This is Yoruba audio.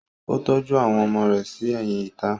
Ó tọ́jú àwọn ọmọ rẹ̀ sí ẹ̀yìn ìta.